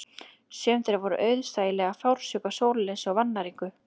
Sum þeirra voru auðsæilega fársjúk af sólarleysi og vannæringu